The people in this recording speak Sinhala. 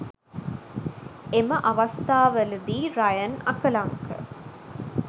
එම අවස්ථාවලදී රයන් අකලංක